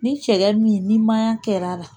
Ni cɛya min ni maɲan kɛla la